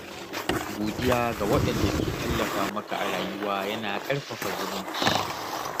Godiya ga waɗanda ke tallafa maka a rayuwa yana ƙarfafa zumunci.